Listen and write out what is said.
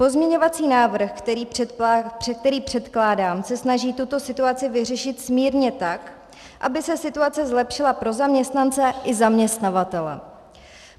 Pozměňovací návrh, který předkládám, se snaží tuto situaci vyřešit smírně tak, aby se situace zlepšila pro zaměstnance i zaměstnavatele.